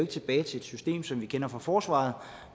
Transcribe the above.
tilbage til et system som vi kender fra forsvaret